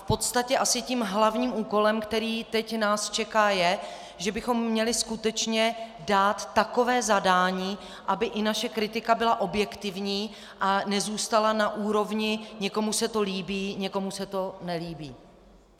V podstatě asi tím hlavním úkolem, který nás teď čeká, je, že bychom měli skutečně dát takové zadání, aby i naše kritika byla objektivní a nezůstala na úrovni - někomu se to líbí, někomu se to nelíbí.